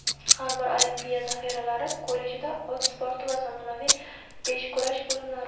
har bir olimpiya zaxiralari kollejida ot sporti va zamonaviy beshkurash bo‘limlari;.